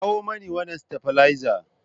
Kawo mini wannan stabilizer!